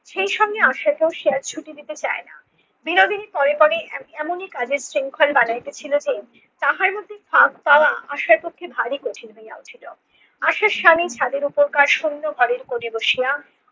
সেই সঙ্গে আশাকেও সে আর ছুটি নিতে চায় না। বিনোদিনী পরে পরে এমন~ এমনি কাজের শৃঙ্খল বানাইতেছিলো যে তাহার মধ্যে ফাঁক পাওয়া আশার মধ্যে ভারী কঠিন হইয়া উঠিল। আশার স্বামী ছাদের ওপরকার শূন্য ঘরের কোনে বসিয়া